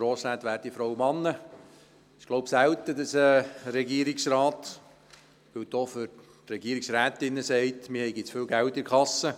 Es ist, so glaube ich, selten, dass ein Regierungsrat – das gilt auch für die Regierungsrätinnen – sagt, man habe zu viel Geld in der Kasse.